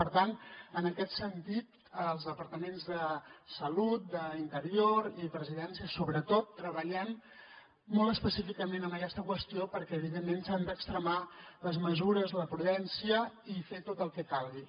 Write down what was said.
per tant en aquest sentit els departaments de salut d’interior i presidència sobretot treballem molt específicament en aquesta qüestió perquè evidentment s’han d’extremar les mesures la prudència i fer tot el que calgui